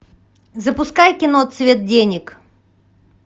запускай кино цвет денег